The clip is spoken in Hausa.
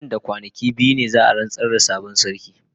Nan da kwanaki biyu ne za a rantsar da sabon sarki.